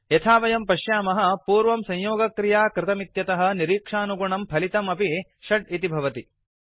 यथा वयं पश्यामः पूर्वं संयोगक्रिया कृतमित्यतः निरीक्षानुगुणं फलितम् अपि 6 भवति